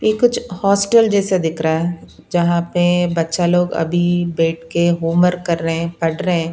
ये कुछ हॉस्टल जैसा दिख रहा है जहां पे बच्चा लोग अभी बैठ के होमवर्क कर रहे हैं पढ़ रहे हैं।